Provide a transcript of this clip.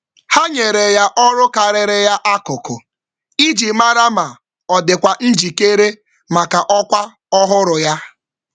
Ha nyere ya ọrụ dị elu iji nyochaa njikere ya maka ọrụ ọhụrụ.